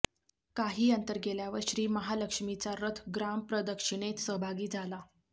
काही अंतर गेल्यावर श्री महालक्ष्मीचा रथ ग्रामप्रदक्षिणेत सहभागी झाला